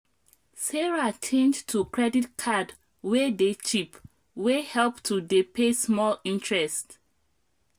sarah change to credit card wey dey cheap wey help to dey pay small interest